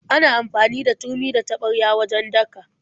Ana amfani da turmi da taɓarya wajen daka.